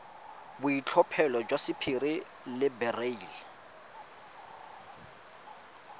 boitlhophelo jwa sapphire le beryl